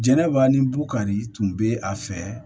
Jɛnɛba ni bukari tun bɛ a fɛ